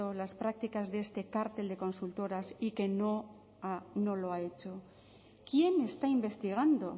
las prácticas de este cártel de consultoras y que no lo ha hecho quién está investigando